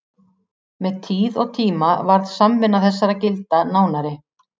Með tíð og tíma varð samvinna þessara gilda nánari.